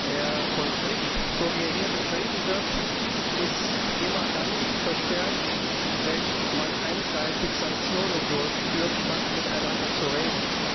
Der Konflikt, so wie er hier beschrieben wird, ist immer dann verstärkt, wenn man einseitig Sanktionen durchführt, statt miteinander zu reden.